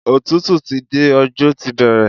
Òtútù ti dé, ọjọ́ ti bẹ̀rẹ̀.